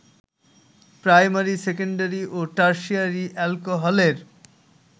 primary, secondary ও tertiary অ্যালকোহলের